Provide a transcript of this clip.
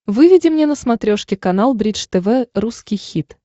выведи мне на смотрешке канал бридж тв русский хит